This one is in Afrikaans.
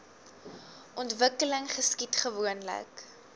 ontwikkeling geskied gewoonlik